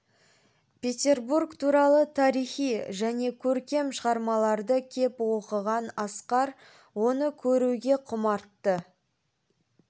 петербург туралы тарихи және көркем шығармаларды кеп оқыған асқар оны көруге құмартты